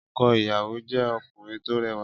Ọkọ ìyàwó jẹ́ ọkùnrin tó rẹwà.